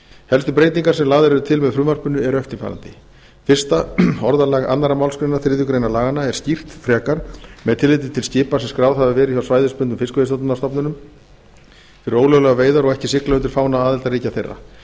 helstu breytingar sem lagðar eru til með frumvarpinu eru eftirfarandi fyrsta orðalag annars á þriðju grein laganna er skýrt frekar með tilliti til skipa sem skráð hafa verið hjá svæðisbundnum fiskveiðistjórnarstofnunum fyrir ólöglegar veiðar og ekki sigla undir fána aðildarríkja þeirra tekið